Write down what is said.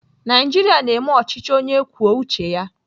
Naijiria na-eme ọchịchị onye kwuo uche ya.